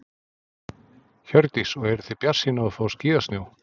Hjördís: Og eruð þið bjartsýn á að fá skíðasnjó?